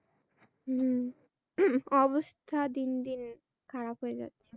হ্যাঁ অবস্থা দিন দিন খারাপই হয়ে গেছে।